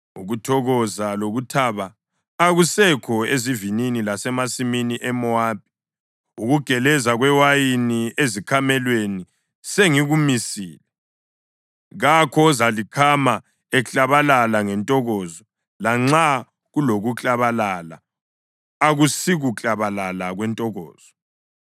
Ukuthokoza lokuthaba akusekho ezivinini lasemasimini eMowabi. Ukugeleza kwewayini ezikhamelweni sengikumisile; kakho ozalikhama eklabalala ngentokozo. Lanxa kulokuklabalala akusikuklabalala kwentokozo.